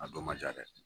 A dɔ ma ja dɛ